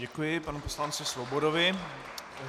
Děkuji panu poslanci Svobodovi.